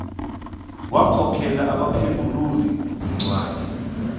wagokelela abaphengululi zincwadi